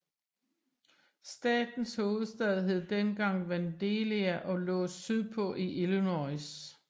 Statens hovedstad hed dengang Vandalia og lå sydpå i Illinois